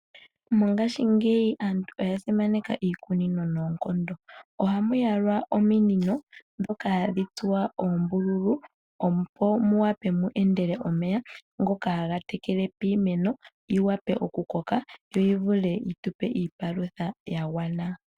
Mongashingeyi aantu oya simaneka iikunino noonkondo. Ohamuyalwa ominino dhoka hadhi tsuwa oombululu opo muwape mu endele omeya, ngoka haga tekele piimeno, yiwape okukoka yo yivule yi tupe iipalutha yagwana.